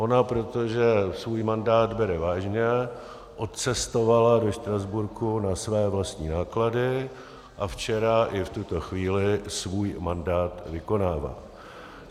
Ona, protože svůj mandát bere vážně, odcestovala do Štrasburku na své vlastní náklady a včera i v tuto chvíli svůj mandát vykonává.